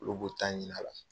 Olu b'u ta ɲinin a la.